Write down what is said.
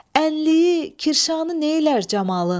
Ənliyi, kirşanı neylər camalın.